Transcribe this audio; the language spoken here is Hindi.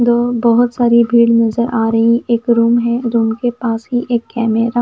दो बहुत सारी भीड़ नजर आ रही एक रूम है रूम के पास ही एक कैमरा --